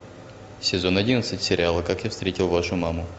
сезон одиннадцать сериала как я встретил вашу маму